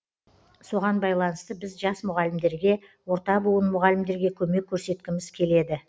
соған байланысты біз жас мұғалімдерге орта буын мұғалімдерге көмек көрсеткіміз келеді